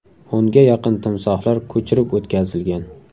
O‘nga yaqin timsohlar ko‘chirib o‘tkazilgan.